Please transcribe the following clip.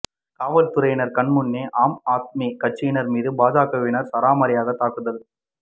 காவல்துறையினர் கண் முன்னே ஆம்ஆத்மி கட்சியினர் மீது பாஜகவினர் சரமாரியாக தாக்குதல்